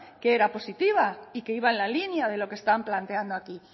que era positiva y que iba en la línea de lo que están planteando aquí